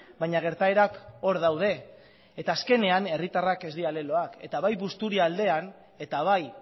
baina gertaerak hor daude eta azkenean herritarrak ez dira leloak eta bai busturialdean eta bai